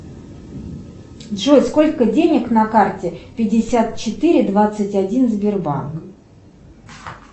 джой сколько денег на карте пятьдесят четыре двадцать один сбербанк